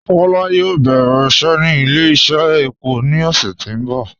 Kọla yóò bẹ̀rẹ̀ iṣẹ́ ni ilẹ̀-iṣẹ̀ èpọ̀ ni ọṣẹ̀ tí n bọ